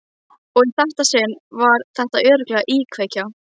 Og í þetta sinn var þetta örugglega íkveikja.